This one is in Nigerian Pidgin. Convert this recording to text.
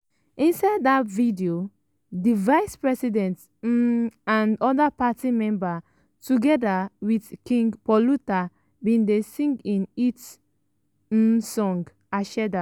inside dat video di vice president um and oda party members togeda wit king paluta bin dey sing im hit um song ‘aseda’.